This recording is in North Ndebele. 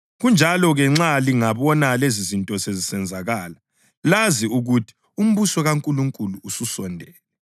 Kanjalo-ke, nxa lingabona lezizinto sezisenzakala, lazi ukuthi umbuso kaNkulunkulu ususondele.